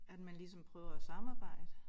At man ligesom prøver at samarbejde